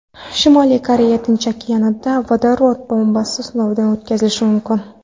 Shimoliy Koreya Tinch okeanida vodorod bombasi sinovini o‘tkazishi mumkin.